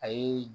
A ye